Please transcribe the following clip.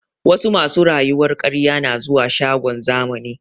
Wasu masu rayuwar ƙarye na zuwa shagon zamani